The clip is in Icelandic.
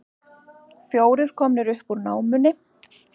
Fjórir komnir upp úr námunni